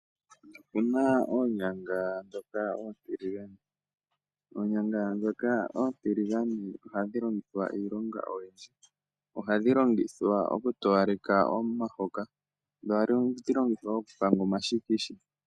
Opuna oonyanga ndhoka oontiligane. Ohadhi longithwa iilonga oyindji, ngaashi oku towaleka omahoka, nosho wo oku panga omashikisha.